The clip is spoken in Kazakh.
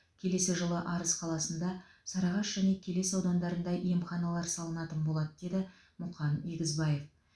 келесі жылы арыс қаласында сарыағаш және келес аудандарында емханалар салынатын болады деді мұқан егізбаев